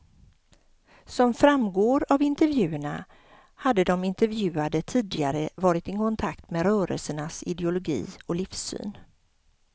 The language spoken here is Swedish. Som framgår av intervjuerna hade de intervjuade tidigare varit i kontakt med rörelsernas ideologi och livssyn.